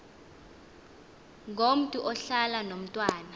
ngomntu ohlala nomntwana